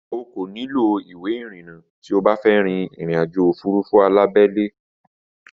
O kò nílò ìwé ìrìnnà tí o bá fẹ́ rín ìrìnàjò òfurufú alábẹ́lé